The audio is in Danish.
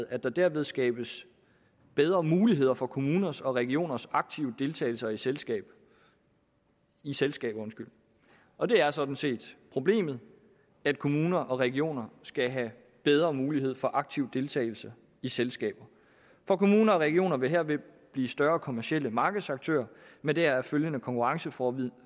at der derved skabes bedre muligheder for kommuners og regioners aktive deltagelse i selskaber i selskaber og det er sådan set problemet at kommuner og regioner skal have bedre mulighed for aktiv deltagelse i selskaber for kommuner og regioner vil herved blive større kommercielle markedsaktører med deraf følgende konkurrenceforvridning